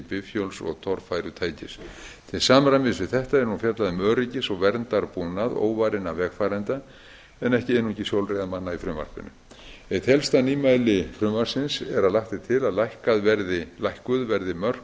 bifhjóls og torfærutækis til samræmis við þetta er nú fjallað um öryggis og verndarbúnað óvarinna vegfarenda en ekki einungis hjólreiðamanna í frumvarpinu eitt helst nýmæli frumvarpsins er að lagt er til að lækkuð verði mörk